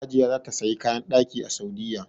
Hajiya za ta saya kayan ɗaki a Saudiya